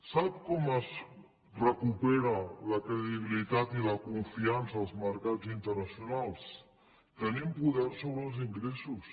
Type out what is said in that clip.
sap com es recuperen la credibilitat i la confiança en els mercats internacionals tenint poder sobre els ingressos